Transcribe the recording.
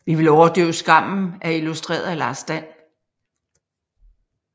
Vi vil overdøve skammen er illustreret af Lars Dan